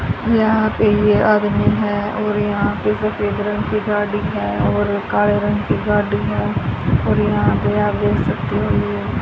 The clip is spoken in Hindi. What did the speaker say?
यहां पे ये आदमी है और यहां पे सफेद रंग की गाड्डी है और काले रंग की गाड्डी है और यहां पे आप देख सकते हो ये --